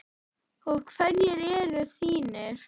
Og hverjir eru þínir?